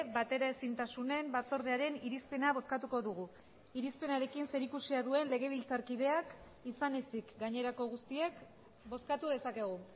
bateraezintasunen batzordearen irizpena bozkatuko dugu irizpenarekin zerikusia duen legebiltzarkideak izan ezik gainerako guztiek bozkatu dezakegu